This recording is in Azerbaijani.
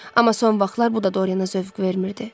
Amma son vaxtlar bu da Doriana zövq vermirdi.